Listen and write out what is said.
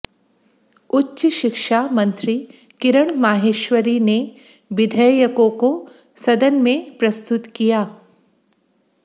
उच्च शिक्षा मंत्री किरण माहेश्वरी ने विधेयकों को सदन में प्रस्तुत किया